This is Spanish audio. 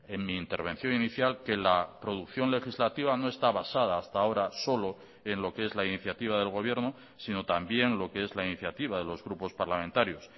en mi intervención inicial que la producción legislativa no está basada hasta ahora solo en lo que es la iniciativa del gobierno sino también lo que es la iniciativa de los grupos parlamentarios